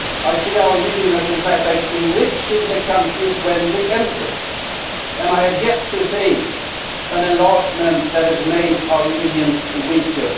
I see our Union as enriching the countries when we enter, and I have yet to see an enlargement that has made our Union weaker.